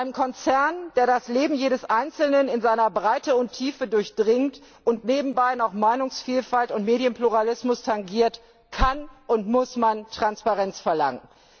Von einem Konzern, der das Leben jedes Einzelnen in seiner Breite und Tiefe durchdringt und nebenbei noch Meinungsvielfalt und Medienpluralismus tangiert, kann und muss man Transparenz verlangen.